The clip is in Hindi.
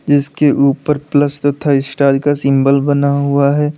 जिसके ऊपर प्लस तथा स्टार का सिंबल बना हुआ है।